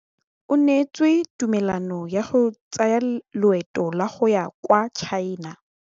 O neetswe tumalanô ya go tsaya loetô la go ya kwa China.